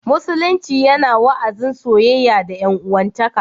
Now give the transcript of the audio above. Musulunci yana wa'azin soyayya da 'yan'uwantaka